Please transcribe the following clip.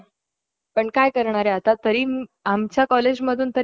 बाहेर येतील आणि त्याच रिझन काय आहे हे पण आपल्याला समजले ना